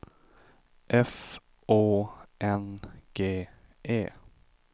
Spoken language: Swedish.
F Å N G E